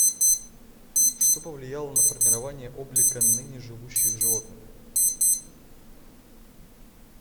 что повлияло на формирование облика ныне живущих животных